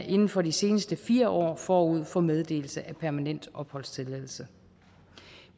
inden for de seneste fire år forud for meddelelse af permanent opholdstilladelse